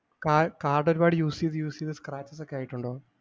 കാ കാര്‍ഡ് ഒരുപാട use ചെയ്ത് use ചെയ്ത് scratches ഒക്കെആയിട്ടുണ്ടോ?